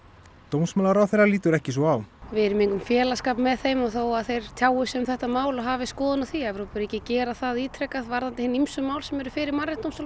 dómsmálaráðherra lítur ekki svo á við erum í engum félagsskap með þeim og þó að þeir tjái sig um þetta mál og hafi skoðun á því Evrópuríki gera það ítrekað varðandi hin ýmsu mál sem eru fyrir